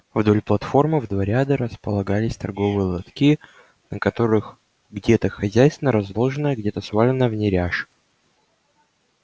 вдоль платформы в два ряда располагались торговые лотки на которых где-то хозяйственно разложенная где-то сваленная в неряш